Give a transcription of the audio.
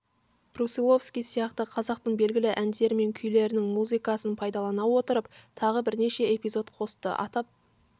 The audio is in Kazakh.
брусиловский сияқты қазақтың белгілі әндері мен күйлерінің музыкасын пайдалана отырып тағы бірнеше эпизод қосты атап